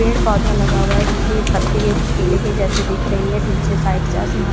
पेड़ पौधा लगा हुआ है जिसकी पत्ती के केले के जैसे दिख रही है पीछे साइड से आसमान--